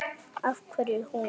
Af hverju hún?